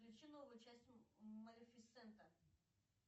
включи новую часть малефисента